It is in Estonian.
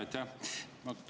Aitäh!